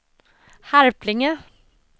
Harplinge